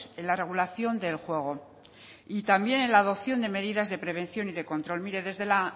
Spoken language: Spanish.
en la regulación del juego y también en la adopción de medidas de prevención y de control mire desde la